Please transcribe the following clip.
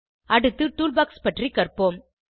அடுத்து டூல்பாக்ஸ் பற்றி கற்போம்